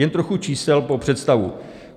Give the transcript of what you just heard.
Jen trochu čísel pro představu.